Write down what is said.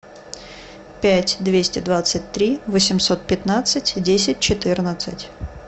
пять двести двадцать три восемьсот пятнадцать десять четырнадцать